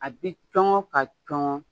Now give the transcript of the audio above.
A bi cɔngɔ ka cɔngɔ